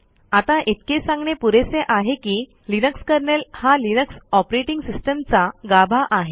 आता इतके सांगणे पुरेसे आहे की लिनक्स कर्नेल हा लिनक्स ऑपरेटिंग सिस्टम चा गाभा आहे